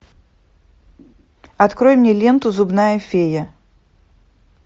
открой мне ленту зубная фея